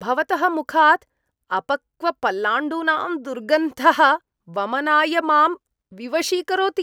भवतः मुखात् अपक्वपलाण्डूनां दुर्गन्धः वमनाय मां विवशीकरोति।